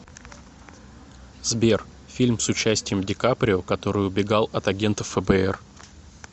сбер фильм с участием ди каприо который убегал от агентов фэ бэ эр